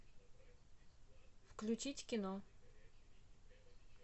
включить кино